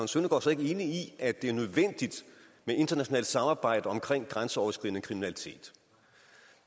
søndergaard så ikke enig i at det er nødvendigt med internationalt samarbejde om grænseoverskridende kriminalitet